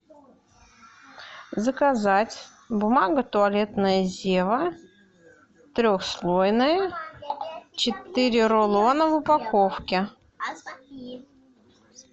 заказать бумага туалетная зева трехслойная четыре рулона в упаковке